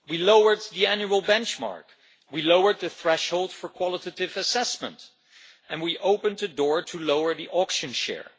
We lowered the annual benchmark, we lowered the threshold for qualitative assessment and we opened a door to lower the auction share.